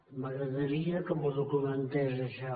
m’agradaria que m’ho documentés això